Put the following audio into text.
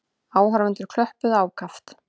Áhorfendur klöppuðu ákaft.